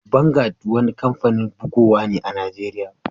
Vangad wani kampanin bugowa ne a'Nijeriya.